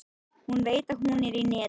Hún veit að hún er í neti.